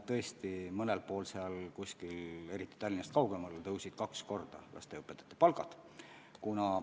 Tõesti, mõnel pool, eriti Tallinnast kaugemal, tõusid lasteaiaõpetajate palgad kaks korda.